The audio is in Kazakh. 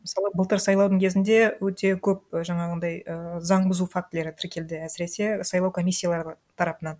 мысалы былтыр сайлаудың кезінде өте көп жаңағындай ііі заң бұзу фактілері тіркелді әсіресе сайлау комиссиялары тарапынан